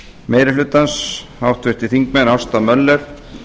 meiri hlutans háttvirtir þingmenn ásta möller